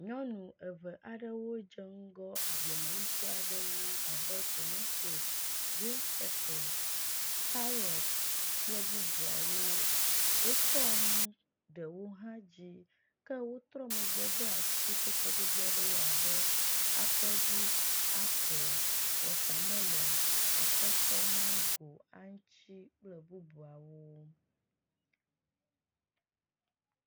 Nyɔnu eve aɖewo dze ŋgɔ agbleme nuku aɖewo abe tomatosi, griŋ pepe, karɔti kple bubuawo. Wotsɔ nu ɖewo hã dzi ke wotrɔ megbe de atikutsetse gbogbowo abe akɔɖu, ape, wɔtamelɔŋ, atɔtɔ, maŋgo, aŋuti kple bubuawo.